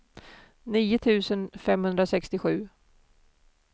nio tusen femhundrasextiosju